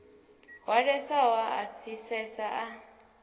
hwalesaho a a fhisesa a